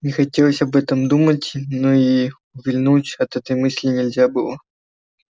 не хотелось об этом думать но и увильнуть от этой мысли нельзя было